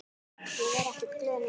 Ég er ekkert glöð núna.